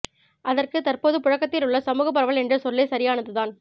அதற்குத் தற்போது புழக்கத்தில் உள்ள சமூகப் பரவல் என்ற சொல்லே சரியானதுதான்